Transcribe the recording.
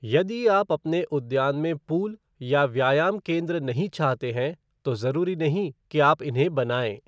यदि आप अपने उद्यान में पूल या व्यायाम केन्द्र नहीं चाहते हैं तो जरूरी नहीं कि आप इन्हें बनाएं।